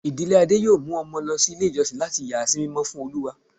ìdílé Ade yóò mu Omo lo ilé ijosìn latí yà sí mímọ́ fún Olúwa.